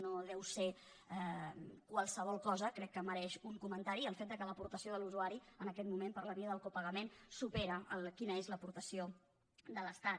no deu ser qualsevol cosa crec que mereix un comentari el fet que l’aportació de l’usuari en aquest moment per la via del copagament superi l’aportació de l’estat